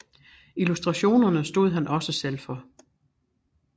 Illustrationerne stod han også selv for